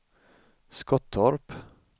Skottorp